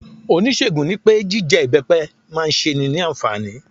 Oníṣègùn nipé jije ibepe ma se é ni ànfàní